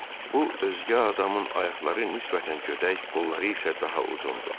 Bu özgə adamın ayaqları nisbətən gödək, qolları isə daha uzundur.